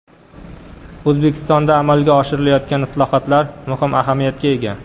O‘zbekistonda amalga oshirilayotgan islohotlar muhim ahamiyatga ega.